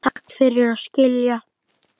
Takk fyrir að skilja.